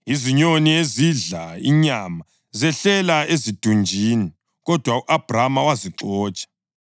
Izinyoni ezidla inyama zehlela ezidunjini, kodwa u-Abhrama wazixotsha.